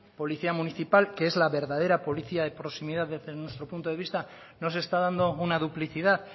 policía municipal que es la verdadera policía de proximidad desde nuestro punto de vista no se está dando una duplicidad